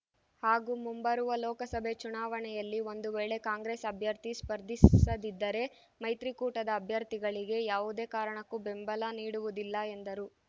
ಹಾಗೂ ಮುಂಬರುವ ಲೋಕಸಭೆ ಚುನಾವಣೆಯಲ್ಲಿ ಒಂದು ವೇಳೆ ಕಾಂಗ್ರೆಸ್ ಅಭ್ಯರ್ಥಿ ಸ್ಪರ್ಧಿಸದಿದ್ದರೆ ಮೈತ್ರಿಕೂಟದ ಅಭ್ಯರ್ಥಿಗಳಿಗೆ ಯಾವುದೇ ಕಾರಣಕ್ಕೂ ಬೆಂಬಲ ನೀಡುವುದಿಲ್ಲ ಎಂದರು